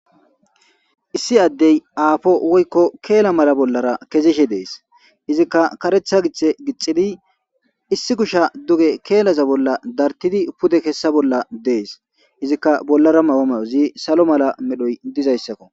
issi addey aafo woykko keela mala bollara kezishe dees izikka karetha gixhe gixidi issi kusha duge keelaza bolla dartidi pude kessa bolla dees izikka bollara mahome ozi salo mala medhoy dizayssakko